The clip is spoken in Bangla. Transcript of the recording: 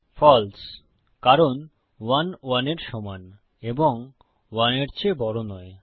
ফালসে কারণ 1 1 এর সমান এবং 1 এর চেয়ে বড় নয়